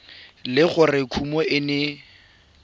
le gore kumo e ne